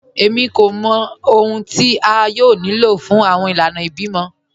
Èmí kò mọ̀ ọ̀hun tí a yóò ní ló fún awọn ìlànà ìbímọ